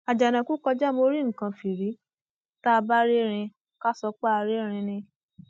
àjànàkú kọjá mo rí nǹkan fìrí tá a bá rí erin ká sọ pé a rí ẹrín ni